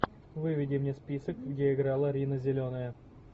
выведи мне список где играла рина зеленая